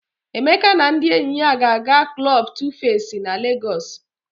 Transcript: Emeka na ndị enyi ya ga-aga klọb Tufesi na Legọs.